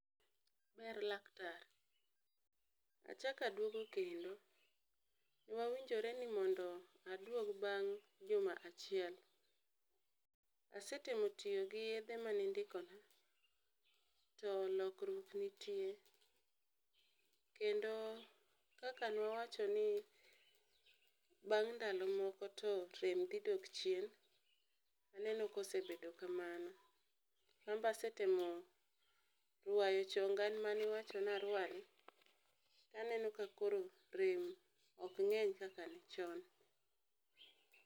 Jatuo: Ber laktar, achako aduogo kendo. Nwawinjore ni mondo aduog bang' juma achiel. Asetemo tiyo gi yedhe manindikona, to lokruok nitie kendo kaka ne wawachoni bang' ndalo moko to rem dhi dok chien, aneno kosebedo kamano. An be asetemo rwayo chonga ma niwacho narwani, aneno ka koro rem ok ng'eny kaka ne chon.